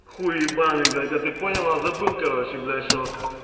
хуй ебаный блядь а ты понял а забыл короче блядь что